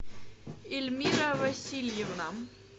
эльмира васильевна